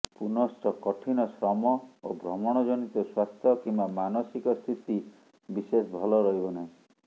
ପୁନଶ୍ଚ କଠିନ ଶ୍ରମ ଓ ଭ୍ରମଣଜନିତ ସ୍ବାସ୍ଥ୍ୟ କିମ୍ବା ମାନସିକ ସ୍ଥିତି ବିଶେଷ ଭଲ ରହିବ ନାହିଁ